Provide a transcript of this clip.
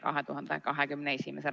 Aitäh!